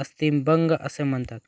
अस्थिभंग असे म्हणतात